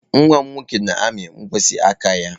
Nwa m nwoke na-amị mkpịsị aka ya.